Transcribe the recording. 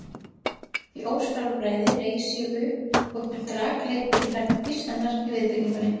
því ósjálfræði reis ég upp og hélt rakleitt til herbergis hennar í viðbyggingunni.